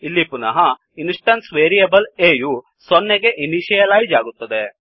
ಇಲ್ಲಿ ಪುನಃ instance variable a ಯು 0 ಸೊನ್ನೆಗೆ ಇನಿಶಿಯಲೈಜ್ ಆಗುತ್ತದೆ